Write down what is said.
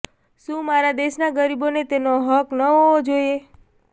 શું મારા દેશના ગરીબોને તેનો હક ન હોવો જોઈએ